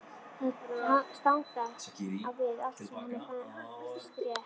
Það stangast á við allt sem henni finnst rétt.